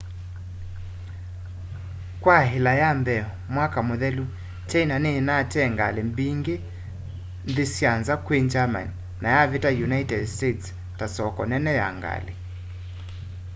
kwa ila ya mbee mwaka muthelu china ni inatee ngali mbingi nthi sya nza kwi germany na yavita united states ta soko nene ya ngali